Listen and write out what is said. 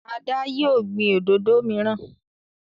Ada yíò gbin òdodo miran.